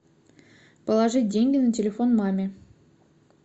положить деньги на телефон маме